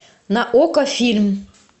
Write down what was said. на окко фильм